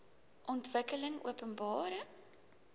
ontwikkelingopenbare